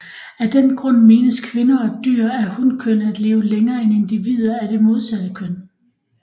Af den grund menes kvinder og dyr af hunkøn at leve længere end individer af det modsatte køn